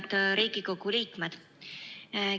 Head Riigikogu liikmed!